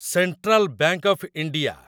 central bank of India